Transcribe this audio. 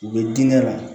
U bɛ diinɛ la